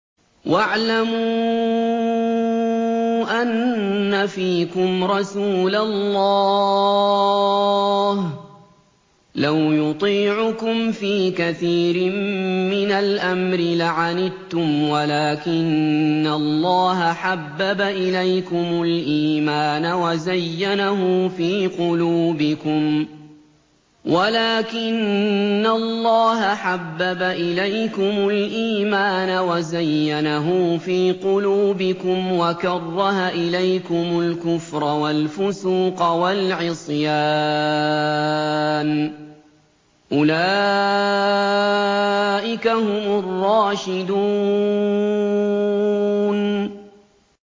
وَاعْلَمُوا أَنَّ فِيكُمْ رَسُولَ اللَّهِ ۚ لَوْ يُطِيعُكُمْ فِي كَثِيرٍ مِّنَ الْأَمْرِ لَعَنِتُّمْ وَلَٰكِنَّ اللَّهَ حَبَّبَ إِلَيْكُمُ الْإِيمَانَ وَزَيَّنَهُ فِي قُلُوبِكُمْ وَكَرَّهَ إِلَيْكُمُ الْكُفْرَ وَالْفُسُوقَ وَالْعِصْيَانَ ۚ أُولَٰئِكَ هُمُ الرَّاشِدُونَ